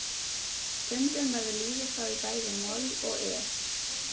Stundum verður lífið þá í bæði moll og es.